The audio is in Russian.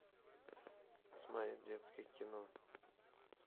смотреть детское кино